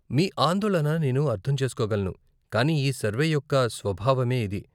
మీ ఆందోళన నేను అర్ధం చేసుకోగలను, కానీ ఈ సర్వే యొక్క స్వభావమే ఇది.